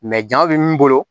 jaw bɛ min bolo